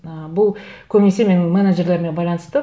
ы бұл көбінесе менің менеджерлеріме байланысты